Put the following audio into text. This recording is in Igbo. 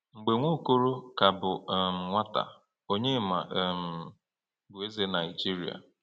Mgbe Nwaokolo ka bụ um nwata, Onyema um bụ eze Nigeria.